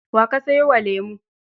Wa ka sayo wa lemo?